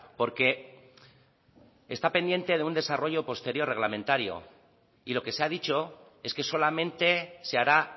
porque está pendiente de un desarrollo posterior reglamentario y lo que se ha dicho es que solamente se hará